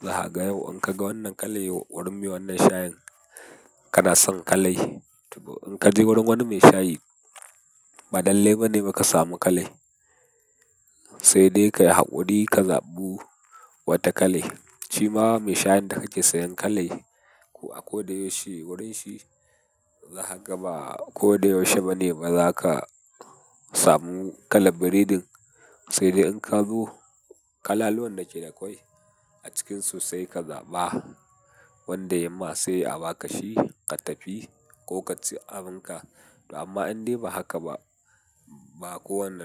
Zahaga yau in ka ga wannan kalai wurin me wannan shayin kana son kalai. To in ka je wurin wani mai shayi, ba lallai ba ne ba ka samu kalai. Sai dai ka yi haƙuri ka zaɓi wata kalai. Shi ma mai shayin da kake sayan kalai ko a ko da yaushe wurin shi zahaga ba ko da yaushe ba ne ba za ka samu kalar biredin. Sai dai in ka zo kalaluwan da yake akwai a cikinsu sai ka zaɓa wanda ya ma sai abaka shi, ka tafi ko ka ci abin ka. To amma in dai ba haka ba, ba kowane.